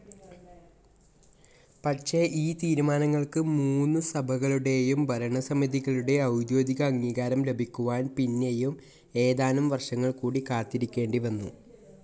പക്ഷെ ഈ തീരുമാനങ്ങൾക് മൂന്നു സഭകളുടെയും ഭരണസമിതികളുടെ ഔദ്യോഗിക അംഗീകാരം ലഭിക്കുവാൻ പിന്നെയും ഏതാനും വർഷങ്ങൾ കൂടി കാത്തിരിക്കേണ്ടിവന്നു.